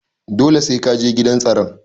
Dole sai Kaje gidan tsaron.